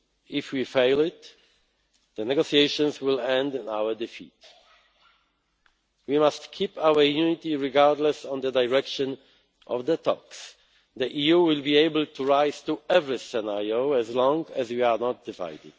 test. If we fail it, the negotiations will end in our defeat. We must keep our unity, regardless of the direction of the talks. The EU will be able to rise to every scenario as long as we are not divided.